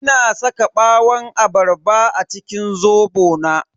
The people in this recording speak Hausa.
Ina saka ɓawon abarba a cikin zobo na.